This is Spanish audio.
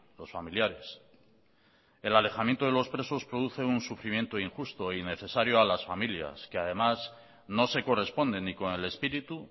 los familiares el alejamiento de los presos produce un sufrimiento injusto e innecesario a las familias que además no se corresponden ni con el espíritu